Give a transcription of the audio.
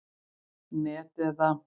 net eða.